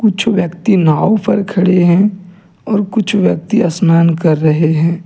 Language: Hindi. कुछ व्यक्ति नाव पर खड़े हैं और कुछ व्यक्ति स्नान कर रहे है।